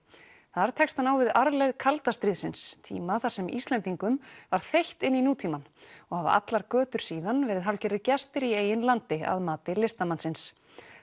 þar tekst á hann við arfleifð kalda stríðsins tíma þar sem Íslendingum var þeytt inn í nútímann og hafa allar götur síðan verið hálfgerðir gestir í eigin landi að mati listamannsins